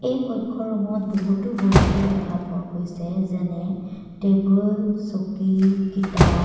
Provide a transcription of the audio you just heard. এই কক্ষৰূম ত বহুতো বস্তু দেখা পোৱা গৈছে যেনে টেবুল চকী কিতাপ --